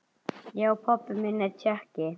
Já, pabbi minn er Tékki